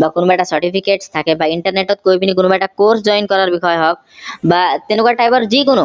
বা কোনোবা এটা certificate থাকে বা internet গৈ পিনে কোনোবা এটা course join কৰাৰ বিষয়ে হওক বা তেনেকুৱা type ৰ যিকোনো